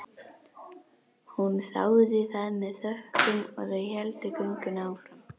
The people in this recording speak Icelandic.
Hún þáði það með þökkum og þau héldu göngunni áfram.